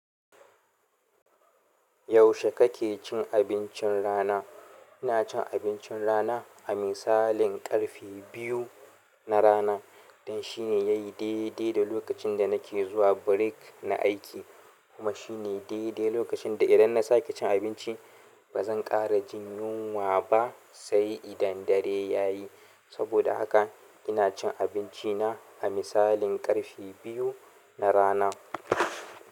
Yaushe kake cin abincin rana? Ina cin abincin rana a misalin ƙarfe biyu na rana. Don shine yayi daidai da lokacin da nake zuwa break na aiki kuma shine daidai lokacin da idan na sake cin abinci ba zan ƙara jin yunwa ba sai idan dare ya yi. Saboda haka ina cin abinci na a misalin ƙarfe biyu na rana.